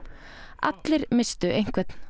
allir misstu einhvern